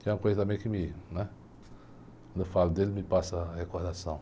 Que é uma coisa também que me, né... Quando eu falo dele, me passa a recordação.